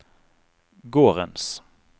gårdens